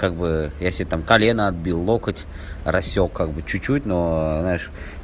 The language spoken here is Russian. как бы я себе там колено отбил локоть рассёк как бы чуть-чуть но знаешь